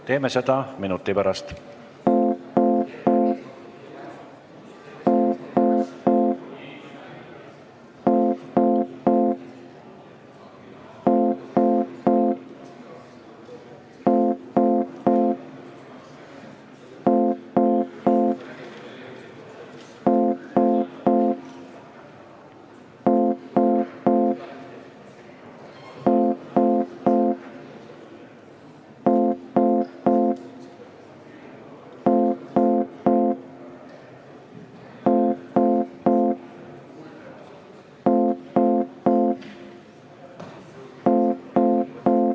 Teeme seda minuti pärast.